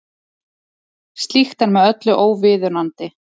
Slíkt er með öllu óviðunandi